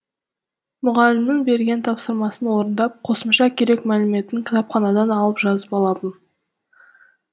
мұғалімнің берген тапсырмасын орындап қосымша керек мәліметін кітапханадан алып жазып алатын